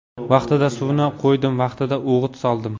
Vaqtida suvini qo‘ydim, vaqtida o‘g‘it soldim.